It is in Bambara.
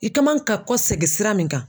I ka man ka kɔsegin sira min kan